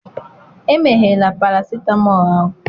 emeghela paracetamol ahụ!